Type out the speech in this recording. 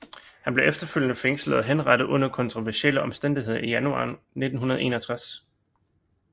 Han blev efterfølgende fængslet og henrettet under kontroversielle omstændigheder i januar 1961